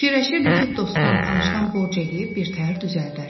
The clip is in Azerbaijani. Fikirləşirdi ki, dostdan, tanışdan borc eləyib birtəhər düzəldər.